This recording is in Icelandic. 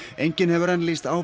enginn hefur enn lýst